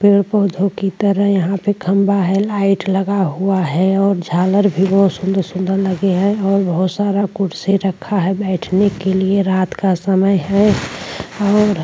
पेड़ पौधों की तरह यहां पे खंबा है लाइट लगा हुआ है और झालर भी बहुत सुंदर-सुंदर लगे हैं और बहुत सारा कुर्सी रखा है बैठने के लिए रात का समय है और --